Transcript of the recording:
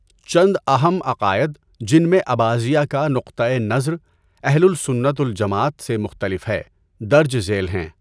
چند اہم عقائد جن میں اباضیہ کا نقطۂ نظر اہل السنت و الجماعت سے مختلف ہے، درج ذیل ہیں۔